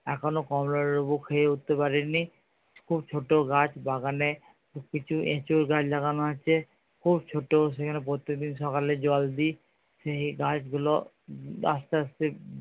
এখনো কমলা লেবু খেয়ে উঠতে পারিনি। খুব ছোটো গাছ বাগানে কিছু এঁচোড় গাছ লাগানো আছে খুব ছোটো সেখানে প্রত্যেকদিন সকালে জল দিই সেই গাছ গুলো আস্তে আস্তে